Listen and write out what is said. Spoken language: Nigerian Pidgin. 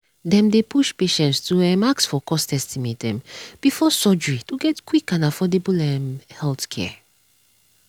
dem dey push patients to um ask for cost estimate um before surgery to get quick and affordable um healthcare.